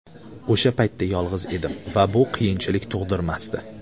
O‘sha paytda yolg‘iz edim va bu qiyinchilik tug‘dirmasdi.